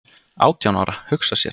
"""Átján ára, hugsa sér!"""